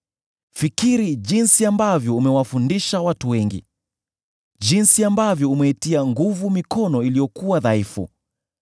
Fikiri jinsi ambavyo umewafundisha watu wengi, jinsi ambavyo umeitia nguvu mikono iliyokuwa dhaifu.